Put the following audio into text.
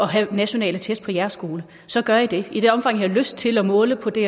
have nationale test på jeres skole så gør i det og i det omfang i har lyst til at måle på det